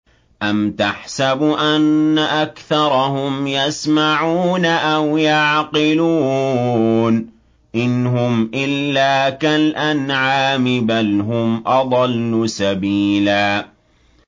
أَمْ تَحْسَبُ أَنَّ أَكْثَرَهُمْ يَسْمَعُونَ أَوْ يَعْقِلُونَ ۚ إِنْ هُمْ إِلَّا كَالْأَنْعَامِ ۖ بَلْ هُمْ أَضَلُّ سَبِيلًا